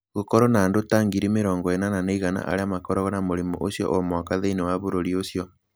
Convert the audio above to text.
Gũkoragwo na andũ ta 80,100 arĩa makoragwo na mũrimũ ũcio o mwaka thĩinĩ wa bũrũri ũcio.